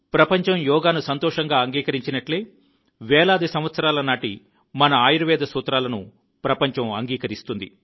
ప్రపంచం యోగాను సంతోషంగా అంగీకరించినట్లే వేలాది సంవత్సరాల నాటి మన ఆయుర్వేద సూత్రాలను ప్రపంచం అంగీకరిస్తుంది